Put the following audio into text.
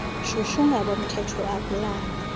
shushu ngabomthetho akulalwa